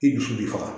I dusu bɛ faga